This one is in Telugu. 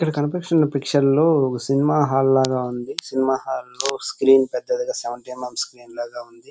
ఇక్కడ కనిపిస్తున్న పిక్చర్ లోని సినిమా హాల్ లాగా ఉంది. సినిమా హాల్ లోని స్క్రీన్ పెద్దది గ సెవెంటీ ఎం ఎం స్క్రీన్ లాగా ఉంది.